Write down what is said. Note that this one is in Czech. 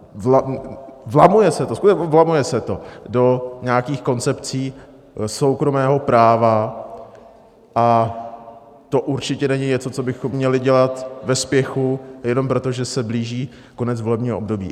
Vlamuje se to, skutečně vlamuje se to do nějakých koncepcí soukromého práva, a to určitě není něco, co bychom měli dělat ve spěchu jenom proto, že se blíží konec volebního období.